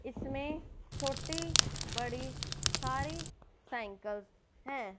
इसमे छोटी बड़ी सारी साइकिल्स है।